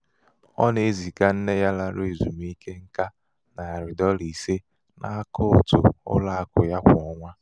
ọ na-eziga nne ya lara ezumike nká nari dọla ise n'akaụtụ ụlọ akụ ya kwa ọnwa.